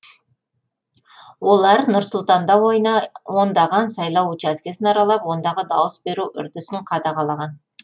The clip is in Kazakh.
олар нұр сұлтанда ондаған сайлау учаскесін аралап ондағы дауыс беру үрдісін қадағалаған